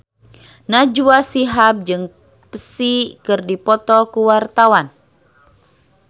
Najwa Shihab jeung Psy keur dipoto ku wartawan